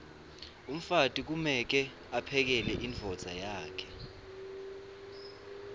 umfati kumeke aphekele imdvodza yakhe